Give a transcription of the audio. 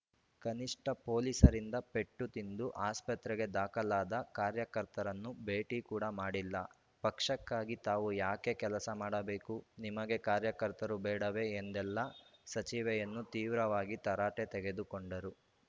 ಕನಿಷ್ಠ ಪೊಲೀಸರಿಂದ ಪೆಟ್ಟು ತಿಂದು ಆಸ್ಪತ್ರೆಗೆ ದಾಖಲಾದ ಕಾರ್ಯಕರ್ತರನ್ನು ಭೇಟಿ ಕೂಡ ಮಾಡಿಲ್ಲ ಪಕ್ಷಕ್ಕಾಗಿ ತಾವು ಯಾಕೆ ಕೆಲಸ ಮಾಡಬೇಕು ನಿಮಗೆ ಕಾರ್ಯಕರ್ತರು ಬೇಡವೇ ಎಂದೆಲ್ಲಾ ಸಚಿವೆಯನ್ನು ತೀವ್ರವಾಗಿ ತರಾಟೆ ತೆಗೆದುಕೊಂಡರು